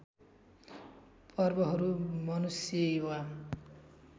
पर्वहरू मनुष्य वा